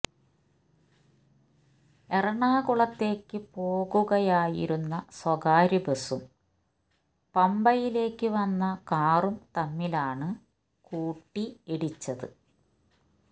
എറണാകുളത്തേക്ക് പോകുകയായിരുന്ന സ്വകാര്യ ബസും പമ്പയിലേക്ക് വന്ന കാറും തമ്മിലാണ് കൂട്ടി ഇടിച്ചത്